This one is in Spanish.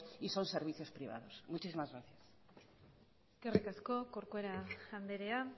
y son servicios privados muchísimas gracias eskerrik asko corcuera andrea